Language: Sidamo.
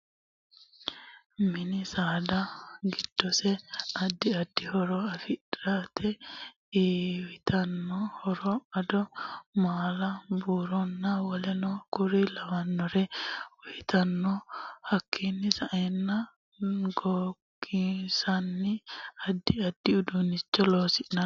Mini saada giddose addi addi horo afidhinote iyiitanno horo ado, maala buuronna wolenno kuri lawannore uyiitanno hakiini sa'enno goginsanni addi addi uduunicho loonsanni